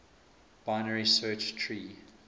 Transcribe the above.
binary search tree